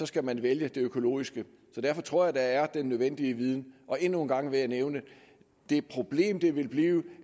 skal man vælge det økologiske så derfor tror jeg der er den nødvendige viden endnu en gang vil jeg nævne det problem det ville blive